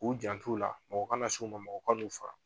U jan t'ula mɔgɔ kana s'u ma mɔgɔ kan'u faga.